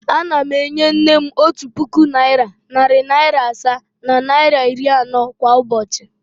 Ana m enye nne m otu puku naịra, narị naịra asaa na naịra iri anọ kwa ụbochị.